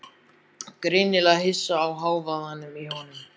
Greinilega hissa á hávaðanum í honum.